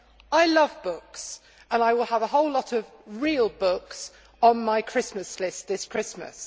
I love books and I will have a whole lot of real books on my Christmas list this Christmas.